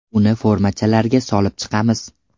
Uni formachalarga solib chiqamiz.